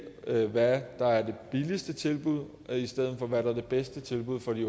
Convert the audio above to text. hvad der er det billigste tilbud i stedet for hvad der er det bedste tilbud for de